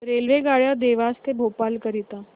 रेल्वेगाड्या देवास ते भोपाळ करीता